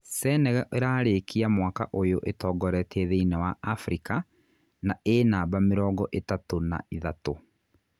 Senegal ĩrarĩkia mwaka ũyũ ĩtongoretie thĩinĩ wa Afrika, na ĩ namba mĩrongo ĩtatu na ithatu.